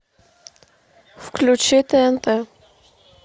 включи тнт